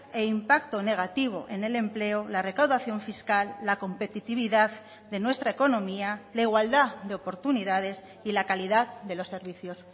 e impacto negativo en el empleo la recaudación fiscal la competitividad de nuestra economía la igualdad de oportunidades y la calidad de los servicios